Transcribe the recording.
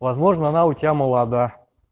возможна она у тебя молода